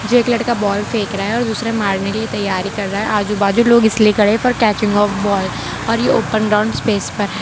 एक लड़का बॉल फेंक रहा है और दूसरे करने के लिए तैयारी कर रहा है आजू बाजू लोग इसलिए खड़े है फोर कैचिंग ऑफ बॉल और ये ओपन ग्राउंड स्पेस --